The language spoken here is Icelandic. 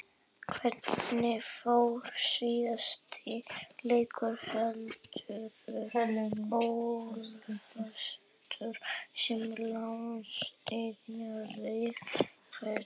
Hvernig fór síðasti leikur Helenu Ólafsdóttur sem landsliðsþjálfari kvenna?